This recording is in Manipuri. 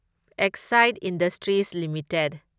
Exide industries limited